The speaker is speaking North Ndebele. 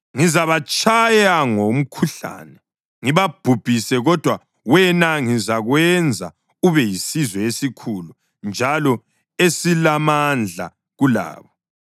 Ngizabatshaya ngomkhuhlane ngibabhubhise, kodwa wena ngizakwenza ube yisizwe esikhulu njalo esilamandla kulabo.”